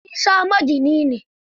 Isa magini ne.